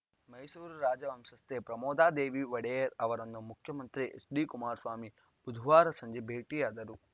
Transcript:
ಮೈಸೂರು ರಾಜವಂಶಸ್ಥೆ ಪ್ರಮೋದಾದೇವಿ ಒಡೆಯರ್‌ ಅವರನ್ನು ಮುಖ್ಯಮಂತ್ರಿ ಎಚ್‌ಡಿ ಕುಮಾರಸ್ವಾಮಿ ಬುಧವಾರ ಸಂಜೆ ಭೇಟಿಯಾದರು